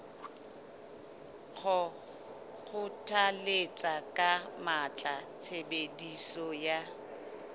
kgothalletsa ka matla tshebediso ya